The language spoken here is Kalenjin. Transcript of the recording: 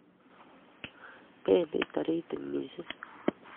pendi tarititik missing